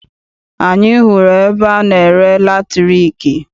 Anyị hụrụ ebe ana-ere latriki.